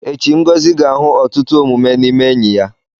Echi, Ngozi ga-ahụ ọtụtụ omume n'ime enyi ya.